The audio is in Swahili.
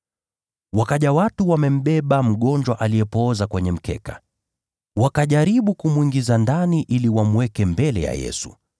Wakaja watu wamembeba mgonjwa aliyepooza kwenye mkeka. Wakajaribu kumwingiza ndani ili wamweke mbele ya Yesu.